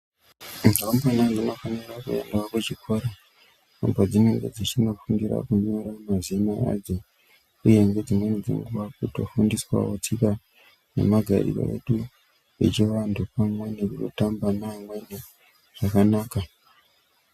Ndumurwa dzinofanirawo kuendawo kuchikora uko kwadzinenge dzichinofundira kunyora mazina adzo uyehe dzimweni dzenguwa kutofundiswa wo tsika nemagariro edu echivanhu pamwe nekutamba nevamweni zvakanaka.